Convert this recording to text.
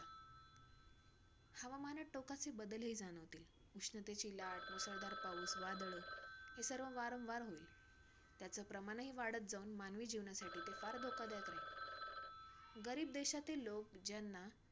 टोकाचे बदलही जाणवतील. उष्णतेची लाट, मुसळधार पाऊस, वादळ, हे सगळं वारंवार होईल. त्याचं प्रमाणही वाढत जाऊन मानवी जीवनासाठी फार धोकादायक राहील. गरीब देशातील लोक, ज्यांना